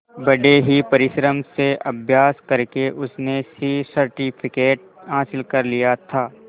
बड़े ही परिश्रम से अभ्यास करके उसने सी सर्टिफिकेट हासिल कर लिया था